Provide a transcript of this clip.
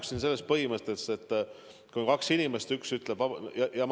Kõigepealt, ma arvan, et vaktsineerimine peab olema vabatahtlik.